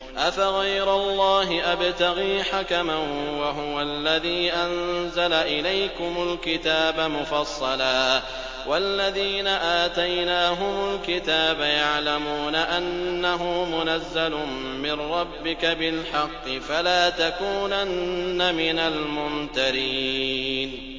أَفَغَيْرَ اللَّهِ أَبْتَغِي حَكَمًا وَهُوَ الَّذِي أَنزَلَ إِلَيْكُمُ الْكِتَابَ مُفَصَّلًا ۚ وَالَّذِينَ آتَيْنَاهُمُ الْكِتَابَ يَعْلَمُونَ أَنَّهُ مُنَزَّلٌ مِّن رَّبِّكَ بِالْحَقِّ ۖ فَلَا تَكُونَنَّ مِنَ الْمُمْتَرِينَ